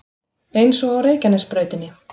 Eins og á Reykjanesbrautinni